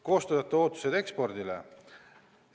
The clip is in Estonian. Koostajate ootused ekspordi vallas on järgmised.